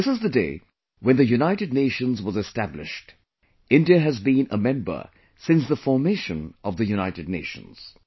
This is the day when the United Nations was established; India has been a member since the formation of the United Nations